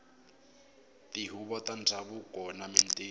tihuvo ta ndhavuko na mintirho